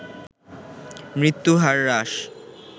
মৃত্যু হার হ্রাস